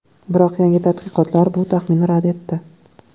Biroq yangi tadqiqotlar bu taxminni rad etdi.